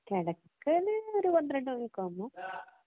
കെടക്കല് ഒരു പന്ത്രണ്ടു മണിയൊക്കെ ആവുമ്പം.